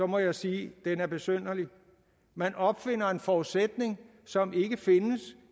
må jeg sige at den er besynderlig man opfinder en forudsætning som ikke findes